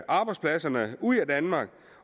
arbejdspladserne ud af danmark